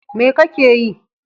Me kake yi?